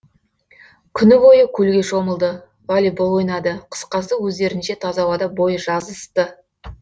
күні бойы көлге шомылды волейбол ойнады қысқасы өздерінше таза ауада бой жазысты